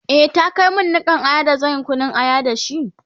e ta Kai min Nikan Aya da zanyi Kunun aya da shi?